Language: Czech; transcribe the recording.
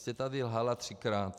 Prostě tady lhala třikrát.